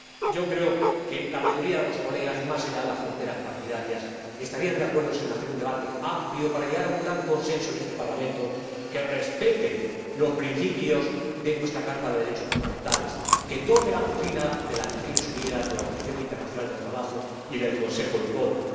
Yo creo que la mayoría de los colegas, más allá de las fronteras partidarias, estarían de acuerdo en hacer un debate amplio para llegar a un gran consenso en este Parlamento que respete los principios de nuestra Carta de Derechos Fundamentales, que tome la doctrina de las Naciones Unidas, de la Organización Internacional del Trabajo y del Consejo de Europa.